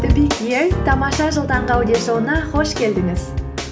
тамаша жыл таңғы аудиошоуына қош келдіңіз